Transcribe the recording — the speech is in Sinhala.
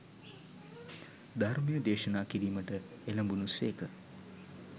ධර්මය දේශනා කිරීමට එළැඹුණු සේක.